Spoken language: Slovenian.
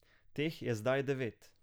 Teh je zdaj devet.